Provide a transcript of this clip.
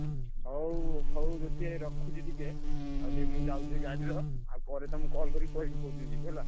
ହଉ ହଉ ଜ୍ୟୋତି ଭାଇ ରଖୁଛି ଟିକେ ଆଉ ଟିକେ ମୁଁ ଯାଉଚି ଗାଡିର ଆଉ ପରେ ତମୁକୁ call କରି କହିବି କୋଉ ଦିନ ଯିବୁ ହେଲା।